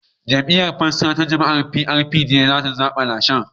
Jam'iyyar Fansa ta Jama'a (PRP) ce za ta lashe zaben.